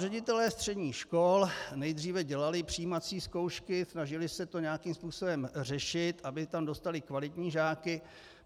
Ředitelé středních škol nejdříve dělali přijímací zkoušky, snažili se to nějakým způsobem řešit, aby tam dostali kvalitní žáky.